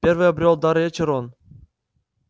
первым обрёл дар речи рон